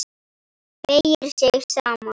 Beygir sig saman.